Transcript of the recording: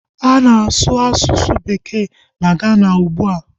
A na-asu bekee na Gana ugbua